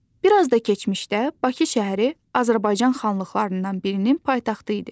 Bir az da keçmişdə Bakı şəhəri Azərbaycan xanlıqlarından birinin paytaxtı idi.